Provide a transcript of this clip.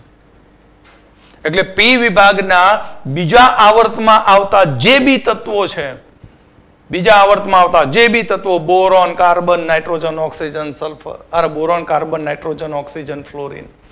એટલે પી વિભાગના બીજા આવર્તમાં આવતાં જે બી તત્વો છે બીજા આવર્ત માં આવતા જે ભી તત્વો boron carbon nitrogen oxygen sulphur boron carbon nitrogen oxygen florin